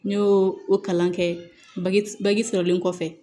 N y'o o kalan kɛ bagki sɔrɔlen kɔfɛ